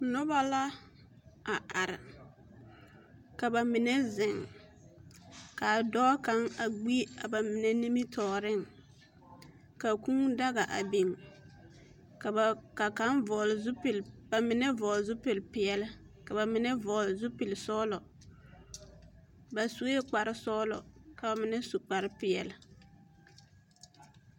Noba la a are ka ba mine zeŋ ka a dɔɔ kaŋ ɡbi a ba mine nimitɔɔreŋ ka kūūdaga a biŋ ka ba mine vɔɔle zupili peɛle ka ba mine vɔɔle zupili sɔɔlɔ ba sue kparsɔɡelɔ ka ba mine su kparpeɛle.